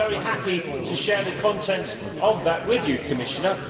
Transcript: I would be very happy to share the contents of that with you, Commissioner.